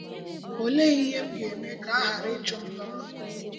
Ọ̀lèé íhè m gà-ème kà a ghàrà íchụ̀ m n’ọ́rụ́?